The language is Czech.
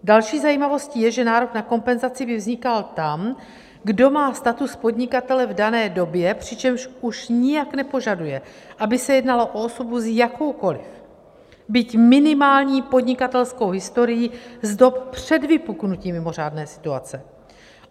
Další zajímavostí je, že nárok na kompenzaci by vznikal tam, kdo má status podnikatele v dané době, přičemž už nijak nepožaduje, aby se jednalo o osobu s jakoukoliv, byť minimální podnikatelskou historií z dob před vypuknutím mimořádné situace.